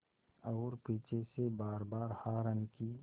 और पीछे से बारबार हार्न की